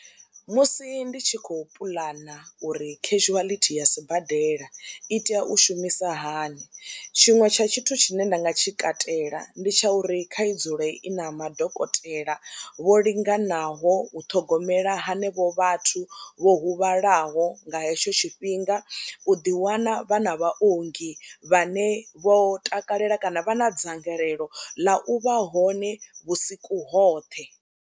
Musi ndi tshi khou puḽana uri khezhuwalithi ya sibadela i tea u shumisa hani tshiṅwe tsha tshithu tshine nda nga tshi katela ndi tsha uri kha i dzule i na madokotela vho linganaho u ṱhogomela hanevho vhathu vho huvhalaho nga hetsho tshifhinga u ḓiwana vhana vhaongi vhane vho takalela kana vha na dzangalelo ḽa u vha hone vhusiku hoṱhe.